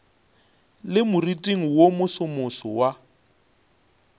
le moriting wo mosomoso wa